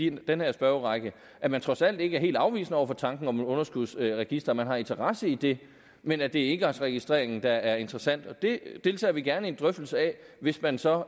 i den her spørgerække at man trods alt ikke er helt afvisende over for tanken om et underskudsregister at man har interesse i det men at det er engangsregistreringen der er interessant det deltager vi gerne i en drøftelse af hvis man så